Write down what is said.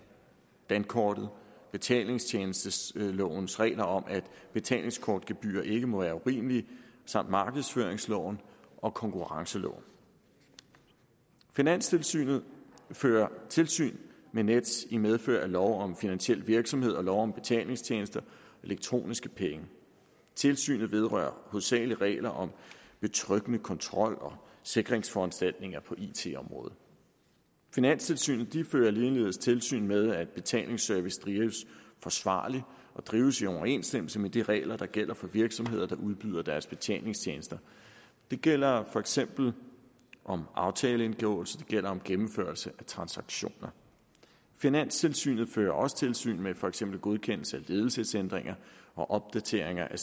dankortet betalingstjenestelovens regler om at betalingskortgebyrer ikke må være urimelige samt markedsføringsloven og konkurrenceloven finanstilsynet fører tilsyn med nets i medfør af lov om finansiel virksomhed og lov om betalingstjenester og elektroniske penge tilsynet vedrører hovedsagelig regler om betryggende kontrol og sikringsforanstaltninger på it området finanstilsynet fører ligeledes tilsyn med at betalingsservice drives forsvarligt og drives i overensstemmelse med de regler der gælder for virksomheder der udbyder deres betalingstjenester det gælder for eksempel aftaleindgåelse det gælder gennemførelse af transaktioner finanstilsynet fører også tilsyn med for eksempel godkendelse af ledelsesændringer og opdateringer af